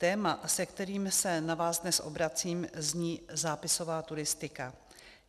Téma, s kterým se na vás dnes obracím, zní - zápisová turistika.